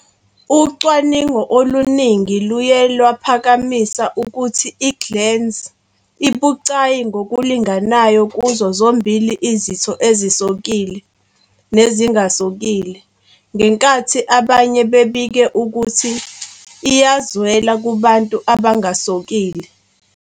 Ucwaningo oluningi luye lwaphakamisa ukuthi i-glans ibucayi ngokulinganayo kuzo zombili izitho ezisokile nezingasokile, ngenkathi abanye bebike ukuthi iyazwela kubantu abangasokile.